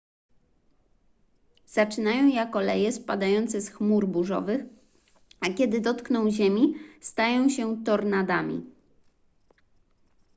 zaczynają jako leje spadające z chmur burzowych a kiedy dotkną ziemi stają się tornadami